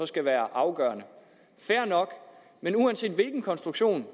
skal være afgørende fair nok men uanset hvilken konstruktion